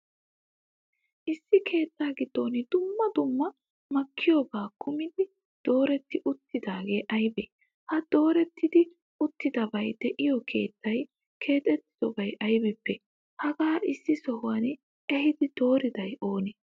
issi keettaa giddon duummaa duummaa makkiyooba kumidi dooreti uttidagee aybee? ha dooretidi uttidabay de7iyo keettay keexxetiddoy aybippee? hagaa issi sohuwa ehidi dooriday oone?